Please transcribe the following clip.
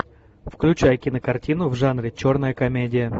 включай кинокартину в жанре черная комедия